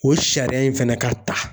O sariya in fɛnɛ ka ta.